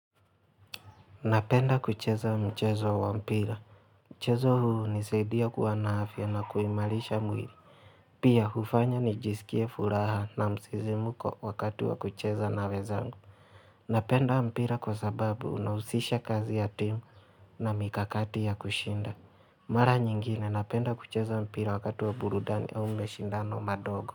Napenda kucheza mchezo wa mpira. Mchezo huu hunisadia kuwa na afya na kuimalisha mwili. Pia hufanya nijisikie furaha na msizimuko wakati wa kucheza na wezangu. Napenda mpira kwa sababu unahusisha kazi ya timu na mikakati ya kushinda. Mara nyingine napenda kucheza mpira wakati wa burudani au meshindano madogo.